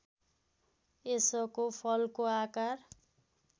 यसको फलको आकार